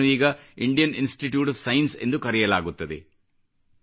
ಇದನ್ನು ಈಗ Indian Institute of Science ಎಂದು ಕರೆಯಲಾಗುತ್ತದೆ